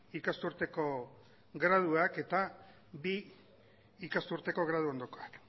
ikasturteko graduak eta bi ikasturteko graduondokoak